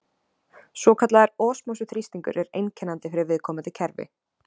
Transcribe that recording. Svokallaður osmósu-þrýstingur er einkennandi fyrir viðkomandi kerfi.